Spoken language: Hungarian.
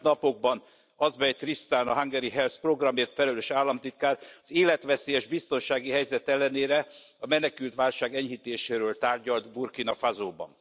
Az elmúlt napokban Azbej Tristan, a Hungary Helps programért felelős államtitkár az életveszélyes biztonsági helyzet ellenére a menekültválság enyhítéséről tárgyalt Burkina Fasóban.